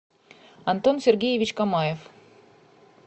антон сергеевич камаев